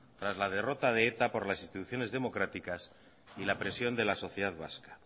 tras la derrota de eta por las instituciones democráticas y la presión de la sociedad vasca